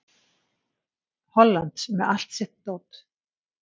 Hollands með allt sitt dót.